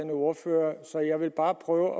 ordfører så jeg vil bare prøve